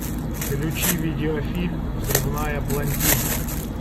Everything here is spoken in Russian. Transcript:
включи видеофильм взрывная блондинка